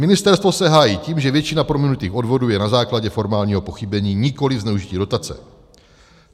Ministerstvo se hájí tím, že většina prominutých odvodů je na základě formálního pochybení, nikoliv zneužití dotace.